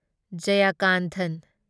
Jayakanthan